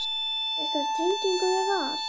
Hefurðu einhverja tengingu við Val?